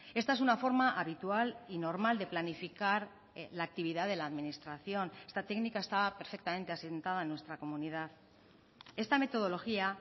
esta es una forma habitual y normal de planificar la actividad de la administración está técnica estaba perfectamente asentada en nuestra comunidad esta metodología